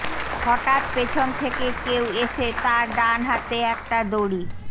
হঠাৎ পেছন থেকে কেউ এসে তার ডান হাতে একটা দড়ি